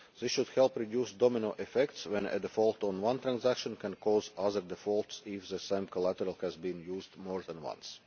This should help reduce domino effects when a default on one transaction can cause other defaults if the same collateral has been used more than